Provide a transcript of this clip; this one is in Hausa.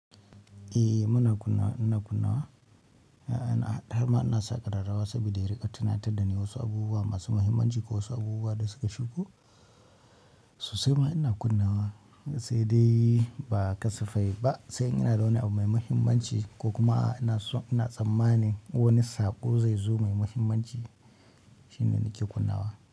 Eh muna kunna, ina kunna wa, har ma ina saƙarau rawa saboda ya riƙa tunatar da ni wasu abubuwa masu muhimmanci ko wasu abubuwa da suka shigo. Sosai ma ina kunna wa sai dai ba kasafai ba, sai in na ga wani abu mai muhimmanci ko kuma inaso ina tsammanin wani saƙo zai zo mai muhimmanci shine nake kunna wa.